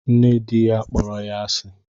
Nne di ya kpọrọ ya asi